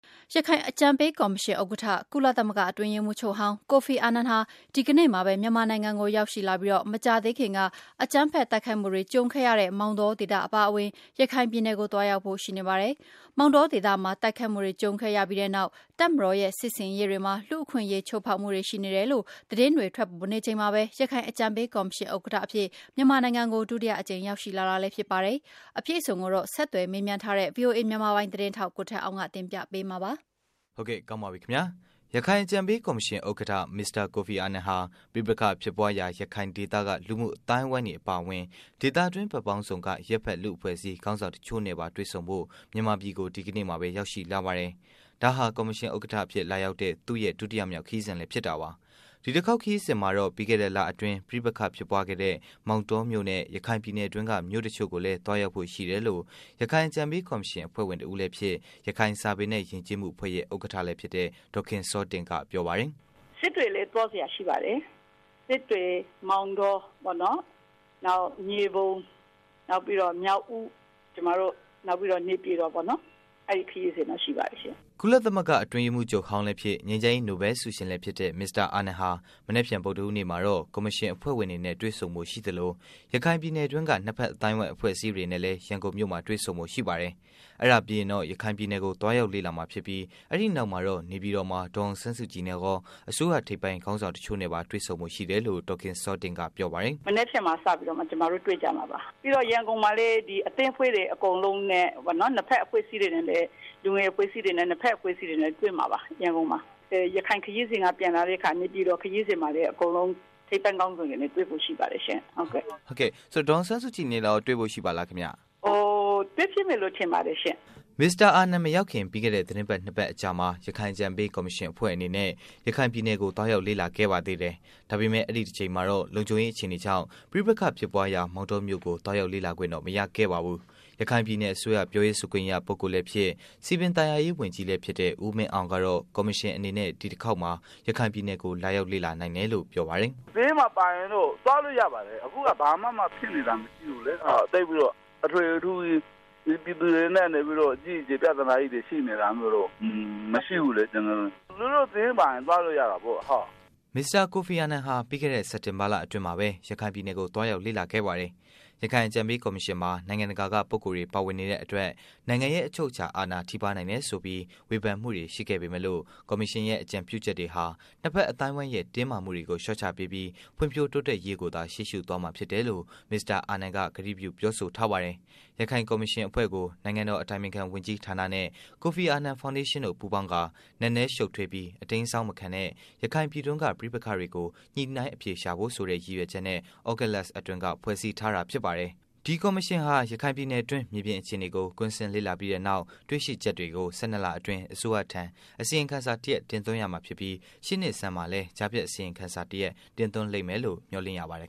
ရခိုင်အကြံပေးကော်မရှင် ဥက္ကဋ္ဌ ကုလသမဂ္ဂ အတွင်းရေးမှူးချုပ်ဟောင်း ကိုဖီအာနန် ဟာ ဒီကနေ့မှာပဲ မြန်မာနိုင်ငံကို ရောက်ရှိလာပြီး၊ မကြာသေးခင်က အကြမ်းဖက်တိုက်ခိုက်မှုတွေကြုံခဲ့ရတဲ့ မောင်တောဒေသ အပါအဝင် ရခိုင်ပြည်နယ်ကို သွားရောက်ဖို့ ရှိနေပါတယ်။ မောင်တောဒေသမှာ တိုက်ခိုက်မှုတွေ ကြုံခဲ့ရပြီးနောက်၊ တပ်မတော်ရဲ့ စစ်ဆင်ရေးတွေမှာ လူ့အခွင့်အရေး ချိုးဖောက်မှုတွေ ရှိနေတယ်လို့ သတင်းတွေ ထွက်ပေါ်နေချိန်မှာပဲ ရခိုင်အကြံပေးကော်မရှင်ဥက္ကဋ္ဌအဖြစ် မြန်မာနိုင်ငံကို ဒုတိယအကြိမ် ရောက်ရှိလာတာလည်း ဖြစ်ပါတယ်။ အပြည့်အစုံကိုတော့ ဆက်သွယ်မေးမြန်းထားတဲ့ ဗွီအိုအေမြန်မာပိုင်း သတင်းထောက် ကိုထက်အောင်က တင်ပြပေးမှာပါ။ ရခိုင်အကြံပေး ကော်မရှင် ဥက္ကဌ မစ္စတာကိုဖီအာနန်ဟာ ပဋိပက္ခဖြစ်ပွားရာ ရခိုင်ဒေသက လူမှုအသိုင်းအဝိုင်းတွေအပါအဝင် ဒေသတွင်း ဘက်ပေါင်းစုံက အရပ်ဖက် လူ့အဖွဲ့အစည်းခေါင်းဆောင်တစ်ချို့နဲ့ပါ တွေ့ဆုံဖို့ မြန်မာပြည်ကို ဒီကနေ့မှာပဲ ရောက်ရှိလာပါတယ်။ ဒါဟာ ကော်မရှင် ဥက္ကအဖြစ် လာရောက်တဲ့ သူ့ရဲ့ ဒုတိယမြောက် ခရီးစဉ်လည်း ဖြစ်တာပါ။ ဒီတစ်ခေါက် ခရီးစဉ်မှာတော့ ပြီးခဲ့တဲ့လအတွင်း ပဋိပက္ခဖြစ်ပွားခဲ့တဲ့ မောင်တော်မြို့နဲ့ ရခိုင်ပြည်နယ်တွင်းက မြို့တစ်ချို့ကိုပါ သွားရောက်ဖို့ ရှိတယ်လို့ ရခိုင်အကြံပေး ကော်မရှင် အဖွဲ့ဝင် တစ်ဦးလည်း ဖြစ်၊ ရခိုင်စာပေနဲ့ ယဉ်ကျေးမှု အဖွဲ့ရဲ့ ဥက္ကဌလည်း ဖြစ်တဲ့ ဒေါ်ခင်စောတင့်က ပြောပါတယ်။ “စစ်တွေလည်းသွားစရာရှိပါတယ်။စစ်တွေ၊ မောင်တောပေါ့နော်၊ နောက်မြေပုံ၊ မြောက်ဦး၊ နောက် ပြီးတော့ နေပြည်တော်ပေါ့နော် အဲဒီခရီးစဉ်ရှိပါတယ်။” ကုလသမဂ္ဂ အထွေထွေအတွင်းရေးမှုးဟောင်းလည်း ဖြစ်၊ ငြိမ်းချမ်းရေး နိုဗဲလ် ဆုရှင်လည်း ဖြစ်တဲ့ မစ္စတာ အာနန်ဟာ မနက်ဖြန် ဗုဒ္ဓဟူးနေ့မှာတော့ ကော်မရှင် အဖွဲ့ဝင်တွေနဲ့ တွေ့ဆုံဖို့ ရှိသလို ရခိုင်ပြည်နယ်တွင်းက နှစ်ဖက် အသိုင်းအဝိုင်း အဖွဲ့အစည်းတို့နဲ့လည်း ရန်ကုန်မြို့မှာ တွေ့ဆုံဖို့ ရှိပါတယ်။ အဲဒါပြီးရင်တော့ ရခိုင်ပြည်နယ်ကို သွားရောက်လေ့လာမှာ ဖြစ်ပြီး အဲဒီ့နောက်မှာတော့ နေပြည်တော်မှာ ဒေါ်အောင်ဆန်းစုကြည်နဲ့ကော အစိုးရ ထိပ်ပိုင်း ခေါင်းဆောင် တစ်ချို့နဲ့ လည်း တွေ့ဖို့ရှိတယ် လို့ ဒေါ်ခင်စောတင့် က ပြောပါတယ်။ “မနက်ဖြန်မှာ စပြီးတော့မှ တွေ့ကြမှာပါ။ ပြီးတော့ ရန်ကုန်မှာလည်း ၂ ဘက်အဖွဲ့အစည်းတွေနဲ့ပေါ့နော် ရန်ကုန်မှာတွေ့မှာပါ။ ရခိုင်ခရီးစဉ် က ပြန်လာတဲ့အခါ နေပြည်တော်ခရီးစဉ်မှာလည်း ထိပ်တန်းခေါင်းဆောင်တွေနဲ့ တွေ့ဖို့ရှိပါတယ်ရှင့်။ မေး။ ။ ဆိုတော့ ဒေါ်အောင်ဆန်းစုကြည်နဲ့ကော တွေ့ဖို့ရှိပါသလား။ ဖြေ။ ။ တွေ့ဖြစ်မယ်လို့ ထင်ပါတယ်ရှင့်။” မစ္စတာ ကိုဖီအာနန် မရောက်ခင် ပြီးခဲ့တဲ့ သတင်းပတ် ၂ ပတ်ကျော်အကြာမှာ ရခိုင်အကြံပေး ကော်မရှင် အဖွဲ့အနေနဲ့ ရခိုင်ပြည်နယ်ကို သွားရောက်လေ့လာခဲ့ပါသေးတယ်။ ဒါပေမဲ့ အဲဒီ့တစ်ကြိမ်မှာတော့ လုံခြုံရေး အခြေအနေကြောင့် ပဋိပက္ခဖြစ်ပွားရာ မောင်တောမြို့ကို သွားရောက်ခွင့် မရခဲ့ပါဘူး။ ရခိုင်ပြည်နယ် အစိုးရ ပြောရေးဆိုခွင့်ရ ပုဂ္ဂိုလ်လည်း ဖြစ်၊ စည်ပင်သာယာရေး ဝန်ကြီးလည်း ဖြစ်တဲ့ ဦးမင်းအောင်ကတော့ ကော်မရှင်အနေနဲ့ ဒီတစ်ခေါက်မှာတော့ ရခိုင်ပြည်နယ်ကို လာရောက်လေ့လာနိုင်တယ်လို့ ပြောပါတယ်။ “ဘေးမှာပါရင်တော့ သွားလို့ရပါတယ်။ အခုက ဘာမှ ဖြစ်နေတာ မရှိဘူးလေ။ သိပ်ပြီးတော့ ထွေထွေထူးထူးကြီး ဒီပြည်နယ်ထဲမှာ ပြဿနာကြီးတွေ ရှိနေတာတွေတော့ မရှိဘူးလေ။ သူတို့ စာရင်းထဲပါရင်တော့ သွားလို့ရတာပေါ့။” မစ္စတာ ကိုဖီအာနန်ဟာ ပြီးခဲ့တဲ့ စက်တင်ဘာလအတွင်းမှာ ရခိုင်ပြည်ကို သွားရောက်လေ့လာခဲ့ပါတယ်။ ရခိုင် အကြံပေး ကော်မရှင်မှာ နိုင်ငံတကာက ပုဂ္ဂိုလ်တွေ ပါနေတဲ့အတွက် နိုင်ငံရဲ့ အချုပ်အခြာ အာဏာထိပါးနိုင်တယ်ဆိုပြီး ဝေဖန်မှုတွေရှိပေမဲ့လို့ ကော်မရှင်ရဲ့ အကြံပြုချက်တွေဟာ နှစ်ဖက်အသိုင်းအဝိုင်းရဲ့ တင်းမာမှုတွေကို လျော့ချပေးပြီး ဖွံဖြိုးတိုးတက်ရေးကိုသာ ရှေးရှု့သွားမှာဖြစ်တယ်လို့ မစ္စတာ ကိုဖီအာနန်က ပြောဆိုထားပါတယ်။ ရခိုင်ကော်မရှင် အဖွဲ့ကို နိုင်ငံတော် အတိုင်ပင်ခံ ဝန်ကြီးဌာနနဲ့ ကိုဖီအာနန် ဖော်ဒေးရှင်းတို့ ပူးပေါင်းကာ နက်နဲရှုပ်ထွေးပြီး အတိမ်းအစောင်းမခံတဲ့ ရခိုင်ပြည်တွင်းက ပဋိပက္ခတွေကို ညှိုနှိုင်းအဖြေရှာဖို့ဆိုတဲ့ ရည်ရွယ်ချက်နဲ့ သြဂုတ်လ အတွင်းက ဖွဲ့စည်းထားတာ ဖြစ်ပါတယ်။ ဒီကော်မရှင်ဟာ ရခိုင်ပြည်နယ်တွင်း မြေပြင်အခြေအနေကို ကွင်းဆင်းလေ့လာပြီးနောက် တွေရှိချက်တွေကို ၁၂ လအတွင်း အစိုးရထံ အစီရင်ခံစာတစ်ရပ် တင်သွင်းရမှာဖြစ်ပြီး၊ ရှေ့နှစ်ဆန်းမှာလည်း ကြားဖြတ်အစီရင်ခံစာ တင်သွင်းလိမ့်မယ်လို့လည်း မျှော်လင့်ရပါတယ်